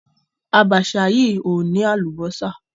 Àbàṣà yìí ò ní àlùbọ́sà.